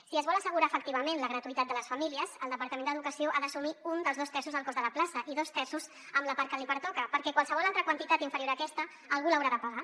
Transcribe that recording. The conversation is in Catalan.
si es vol assegurar efectivament la gratuïtat de les famílies el departament d’educació ha d’assumir un dels dos terços del cost de la plaça i dos terços amb la part que li pertoca perquè qualsevol altra quantitat inferior a aquesta algú l’haurà de pagar